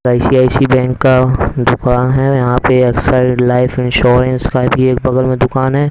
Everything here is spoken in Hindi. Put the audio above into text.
आइ_सी_आइ_सी बैंक का दुकान है यहां पे लाइफ इंश्योरेंस का भी एक बगल में दुकान है।